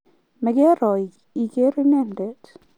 mekeero ikeer inendet